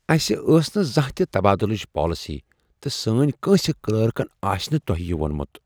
اسہ ٲس نہٕ زانہہ تہ تبادُلٕچ پالسی تہٕ سٲنۍ کٲنٛسہ کلرکن آسہ نہٕ تۄہہ یہِ وۄنمُت۔